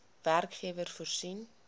werkgewer voorsien